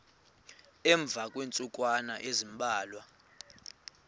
emva kweentsukwana ezimbalwa